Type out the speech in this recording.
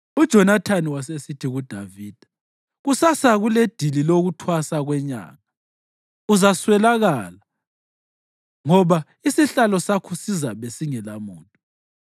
UJonathani wasesithi kuDavida, “Kusasa kuledili lokuThwasa kweNyanga. Uzaswelakala ngoba isihlalo sakho sizabe singelamuntu.